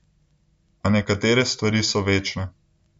A nekatere stvari so večne.